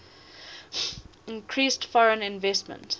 increased foreign investment